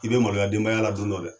i bɛ maloya denbaya la don dɔ dɛ